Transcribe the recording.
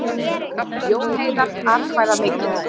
Jón Heiðar atkvæðamikill